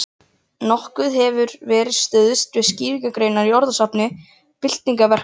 Nokkuð hefur verið stuðst við skýrgreiningar í orðasafni byggingaverkfræðinga.